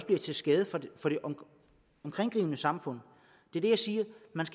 bliver til skade for det omkringliggende samfund det jeg siger